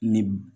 Ni